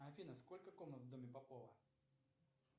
афина сколько комнат в доме попова